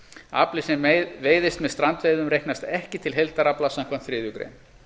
afli sem veiðist með strandveiðum reiknast ekki til heildarafla samkvæmt þriðju grein